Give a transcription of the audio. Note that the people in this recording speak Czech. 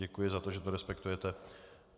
Děkuji za to, že to respektujete.